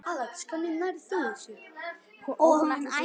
Og hún ætlar sér burt.